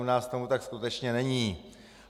U nás tomu tak skutečně není.